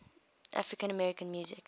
african american music